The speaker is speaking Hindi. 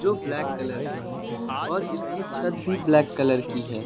जो ब्लैक कलर के हैं और इसकी छत भी ब्लैक कलर की है।